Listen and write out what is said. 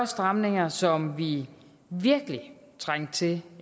stramninger som vi virkelig trængte til